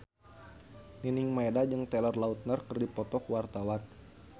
Nining Meida jeung Taylor Lautner keur dipoto ku wartawan